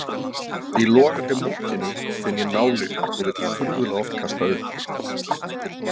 í logandi mókinu finn ég nálykt og vil furðulega oft kasta upp.